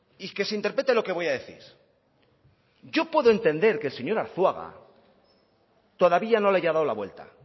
y que se interprete lo que voy a decir yo puedo entender que el señor arzuaga todavía no le haya dado la vuelta